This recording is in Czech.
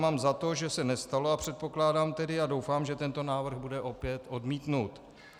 Mám za to, že se nestalo, a předpokládám tedy a doufám, že tento návrh bude opět odmítnut.